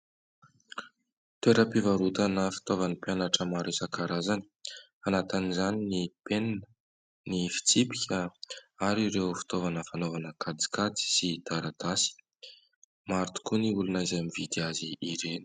Toeram-pivarotana fitaovan'ny mpianatra maro isakarazany, anatin' izany ny penina, ny fitsipika ary ireo fitaovana fanaovana kajikajy sy taratasy maro tokoa ny olona izay mividy azy ireny.